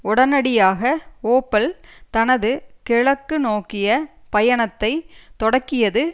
உடனடியாக ஓப்பல் தனது கிழக்கு நோக்கிய பயணத்தை தொடக்கியது